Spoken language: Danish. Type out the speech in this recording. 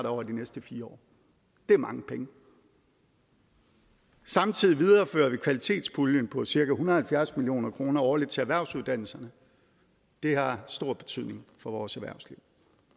over de næste fire år det er mange penge samtidig viderefører vi kvalitetspuljen på cirka en hundrede og halvfjerds million kroner årligt til erhvervsuddannelserne det har stor betydning for vores erhvervsliv